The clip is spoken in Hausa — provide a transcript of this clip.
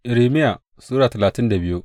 Irmiya Sura talatin da biyu